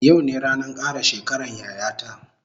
Yau ne ranan kara shekaran yaya ta